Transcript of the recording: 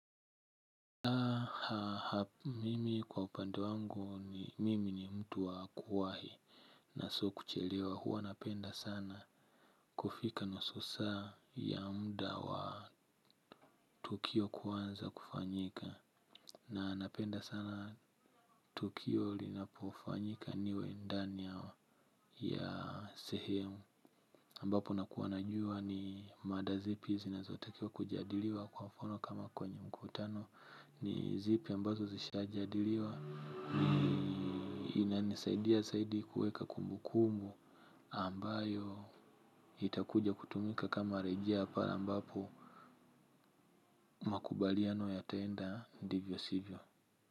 Mimi kwa upande wangu ni mimi ni mtu wa kuwahi na sio kuchelewa huwa napenda sana kufika nusu saa ya muda wa tukio kuanza kufanyika. Na napenda sana tukio linapofanyika niwe ndani ya ya sehemu ambapo nakuwa najua ni mada zipi zinazotakiwa kujadiliwa kwa mfano kama kwenye mkutano ni zipi ambazo zishajadiliwa ni inanisaidia zaidi kuweka kumbukumbu ambayo itakuja kutumika kama rejea pale ambapo makubaliano yataenda ndivyo sivyo.